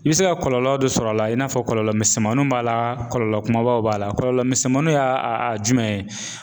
I bɛ se ka kɔlɔlɔ dɔ sɔr'a la i n'a fɔ kɔlɔlɔ misɛnmaninw b'a la kɔlɔlɔ kumabaw b'a la. Kɔlɔlɔ misɛnmaninw y'a a a jumɛn ye?